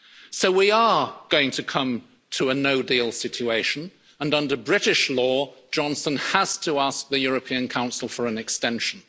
So we are going to come to a no deal situation and under British law, Johnson has to ask the European Council for an extension.